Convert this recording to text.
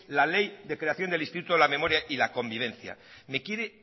la ley de creación del instituto de la memoria y la convivencia me quiere